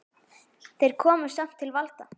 Þeir komust samt til valda.